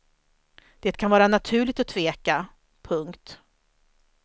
Det kan vara naturligt att tveka. punkt